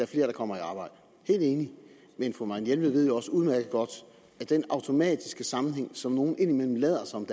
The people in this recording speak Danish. flere der kommer i arbejde helt enig men fru marianne jelved ved jo også udmærket godt at den automatiske sammenhæng som nogle indimellem lader som